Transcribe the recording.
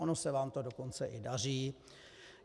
Ono se vám to dokonce i daří.